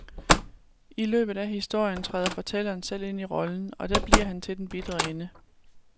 I løbet af historien træder fortælleren selv ind i rollen, og der bliver han til den bitre ende.